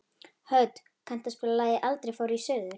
Hödd, kanntu að spila lagið „Aldrei fór ég suður“?